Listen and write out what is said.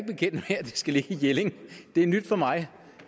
det skal ligge i jelling det er nyt for mig